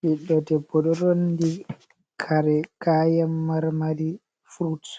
Ɓiɗɗo debbo ɗo rondi kayan kare marmari fruts.